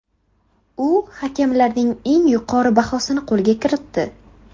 U hakamlarning eng yuqori bahosini qo‘lga kiritdi.